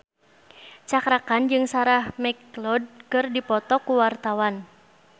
Cakra Khan jeung Sarah McLeod keur dipoto ku wartawan